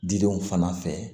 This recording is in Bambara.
Didenw fana fɛ